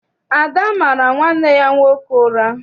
Ada mara nwanne ya nwoke ụra.